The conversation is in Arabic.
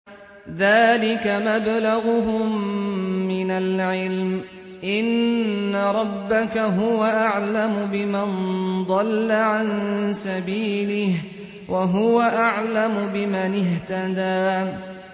ذَٰلِكَ مَبْلَغُهُم مِّنَ الْعِلْمِ ۚ إِنَّ رَبَّكَ هُوَ أَعْلَمُ بِمَن ضَلَّ عَن سَبِيلِهِ وَهُوَ أَعْلَمُ بِمَنِ اهْتَدَىٰ